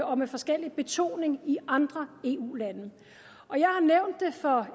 og med forskellig betoning i andre eu lande